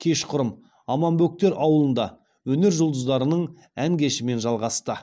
кешқұрым аманбөктер ауылында өнер жұлдыздарының ән кешімен жалғасты